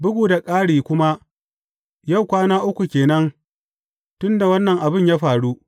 Bugu da ƙari kuma yau kwana uku ke nan tun da wannan abin ya faru.